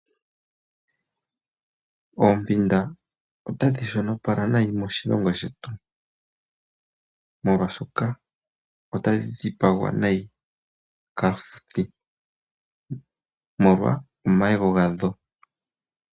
Oompanda otadhi shonopala nayi moshilongo shetu, molwaashoka otadhi dhipagwa nayi kaafuthi, molwa omayego gadho.